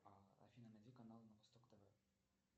афина найди канал на восток тв